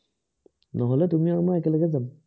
নহলে তুমি আৰু মই একেলগে যাম।